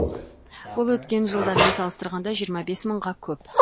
бұл өткен жылдармен салыстырғанда жиырма бес мыңға көп